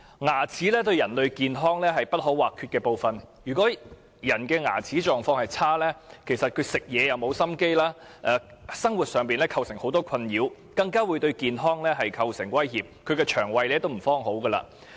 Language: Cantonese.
牙齒是人類健康不可或缺的部分，如果牙齒狀況差，人會沒有心情進食，構成很多生活上的困擾，更會對健康構成威脅，亦會損害腸胃。